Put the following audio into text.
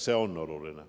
See on meile oluline.